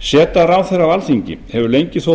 seta ráðherra á alþingi hefur lengi þótt